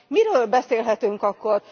Miről beszélhetünk akkor?